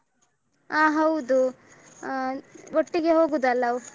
ಹ ಹೌದು ಒಟ್ಟಿಗೆ ಆಹ್ ಹೋಗುದಲ್ಲ.